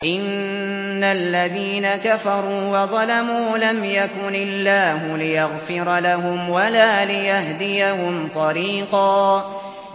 إِنَّ الَّذِينَ كَفَرُوا وَظَلَمُوا لَمْ يَكُنِ اللَّهُ لِيَغْفِرَ لَهُمْ وَلَا لِيَهْدِيَهُمْ طَرِيقًا